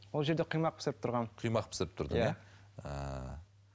ол жерде құймақ пісіріп тұрғанмын құймақ пісіріп тұрдың иә ааа